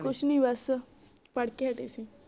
ਕੁਛ ਨੀ ਬਸ ਪੜ੍ਹ ਕੇ ਹਟੇ ਸੀ